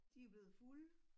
De er blevet fulde